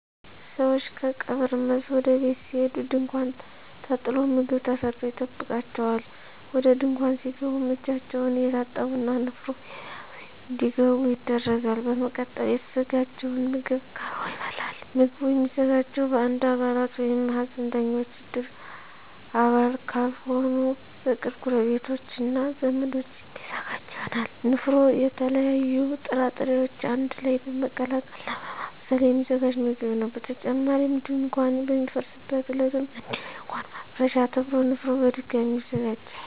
ሰወች ከቀብር መልስ ወደ ቤት ሲሄዱ ድንኳን ተጥሎ ምግብ ተሰርቶ ይጠብቃቸዋል። ወደ ድንኳን ሲገቡም እጃቸውን እየታጠቡ እና ንፍሮ እየዘገኑ እንዲገቡ ይደረጋል። በመቀጠልም የተዘጋጀው ምግብ ቀርቦ ይበላል። ምግቡ የሚዘጋጀው በእድር አባላት ወይም ሀዘንተኞች እድር አባል ካልሆኑ በቅርብ ጎረቤቶች እና ዘመዶች የሚዘጋጅ ይሆናል። ንፍሮ የተለያዩ ጥራጥሬወችን አንድ ላይ በመቀቀል እና በማብሰል የሚዘጋጅ ምግብ ነው። በተጨማሪም ድንኳን በሚፈርስበት ዕለትም እንዲሁ የድንኳን ማፍረሻ ተብሎ ንፍሮ በድጋሚ ይዘጋጃል።